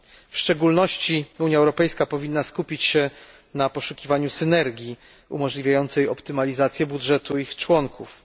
W szczególności Unia Europejska powinna skupić się na poszukiwaniu synergii umożliwiającej optymalizację budżetu jej państw członkowskich.